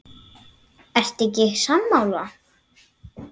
Ertu ekki sammála?